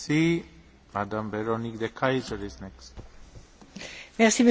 Monsieur le Président, cette résolution est vraiment une résolution très politique.